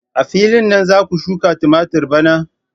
A filin nan za ku shuka tumatur bana?